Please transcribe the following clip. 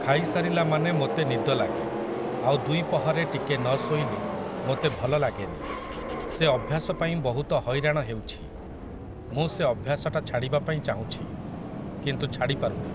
ଖାଇସାରିଲା ମାନେ ମୋତେ ନିଦ ଲାଗେ ଆଉ ଦ୍ୱିପହରେ ଟିକେ ନ ଶୋଇଲେ ମୋତେ ଭଲ ଲାଗେନି । ସେ ଅଭ୍ୟାସପାଇଁ ବହୁତ ହଇରାଣ ହେଉଛି । ମୁଁ ସେ ଅଭ୍ୟାସଟା ଛାଡ଼ିବା ପାଇଁ ଚାହୁଁଛି, କିନ୍ତୁ ଛାଡ଼ିପାରୁନି ।